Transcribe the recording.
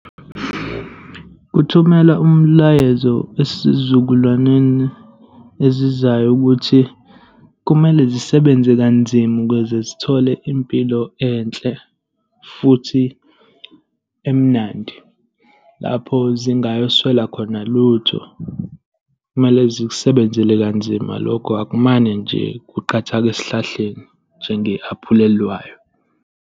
Ukuthumela umlayezo esizukulwaneni ezizayo ukuthi kumele zisebenze kanzima ukuze zithole impilo enhle futhi emnandi, lapho zingayoswela khona lutho. Kumele zikusebenzele kanzima lokho. Akumane nje kuqathake esihlahleni, njenge-aphula eliwayo.